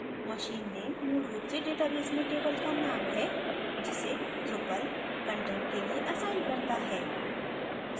machine name मूल रूप से database में table का name है जिसे drupal कंटेंट के लिए असाइन करता है